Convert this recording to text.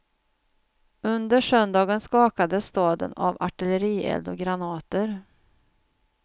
Under söndagen skakades staden av artillerield och granater.